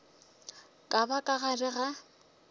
ka ba ka gare ga